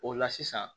O la sisan